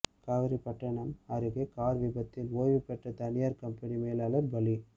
காவேரிப்பட்டணம் அருகே கார் விபத்தில் ஓய்வுபெற்ற தனியார் கம்பெனி மேலாளர் பலி